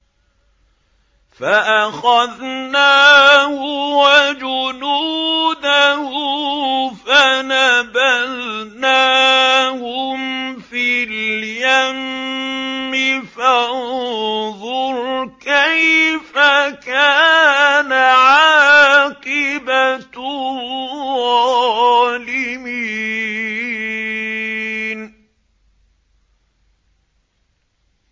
فَأَخَذْنَاهُ وَجُنُودَهُ فَنَبَذْنَاهُمْ فِي الْيَمِّ ۖ فَانظُرْ كَيْفَ كَانَ عَاقِبَةُ الظَّالِمِينَ